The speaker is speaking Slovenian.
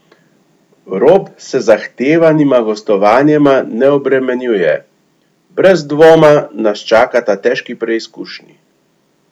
Rob se z zahtevnima gostovanjema ne obremenjuje: "Brez dvoma nas čakata težki preizkušnji.